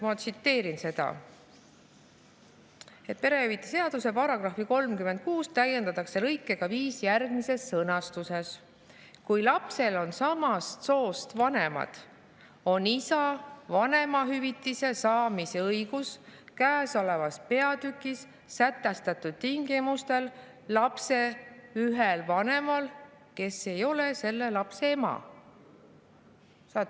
Ma tsiteerin seda: "Perehüvitiste seaduses tehakse järgmised muudatused: 9) paragrahvi 36 täiendatakse lõikega 5 järgmises sõnastuses: " Kui lapsel on samast soost vanemad, on isa vanemahüvitise saamise õigus käesolevas peatükis sätestatud tingimustel lapse ühel vanemal, kes ei ole selle lapse ema.";.